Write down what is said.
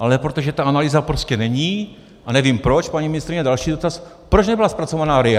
Ale protože ta analýza prostě není, a nevím proč - paní ministryně, další dotaz: Proč nebyla zpracována RIA?